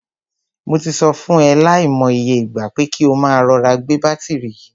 Mo ti sọ fún e lai mo iye ìgbà, pé kí o máa rọra gbé bátìrì yìí.